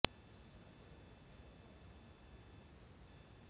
চফীয়াৰৰ পত্নী লাভলী আকতাৰ বাধা দিয়াত মহিলা গৰাকীৰ হাত ভৰি বান্ধি ডিঙিত চেপি হত্যাৰ চেষ্টা